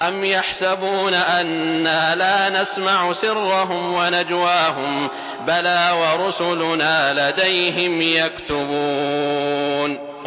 أَمْ يَحْسَبُونَ أَنَّا لَا نَسْمَعُ سِرَّهُمْ وَنَجْوَاهُم ۚ بَلَىٰ وَرُسُلُنَا لَدَيْهِمْ يَكْتُبُونَ